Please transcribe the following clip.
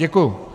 Děkuji.